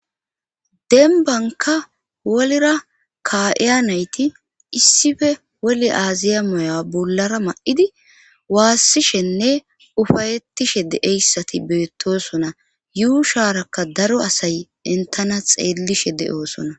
denbanka wolira ka7eya nayti issife woli aaziya moya bullara ma7idi waassishenne ufayettishe de7eyssati beettosona yuu shaarakka daro asay entana xeellishe de7oosona